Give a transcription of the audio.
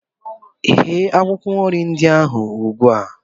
Ghee akwụkwọ nri ndị ahụ ugbu a!